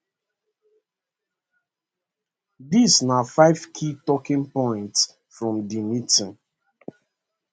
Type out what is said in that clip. dis na five key talking points from di meeting